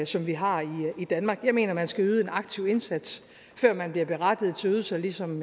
som vi har i danmark jeg mener at man skal yde en aktiv indsats før man bliver berettiget til ydelser ligesom